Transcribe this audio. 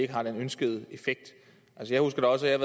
har den ønskede effekt jeg husker også at